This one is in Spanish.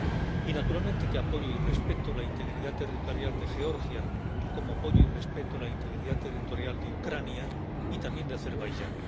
Y naturalmente que apoyo y respeto la integridad territorial de Georgia, como apoyo y respeto a la integridad territorial de Ucrania y también de Azerbaiyán.